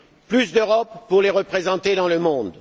Plus d'Europe pour les représenter dans le monde.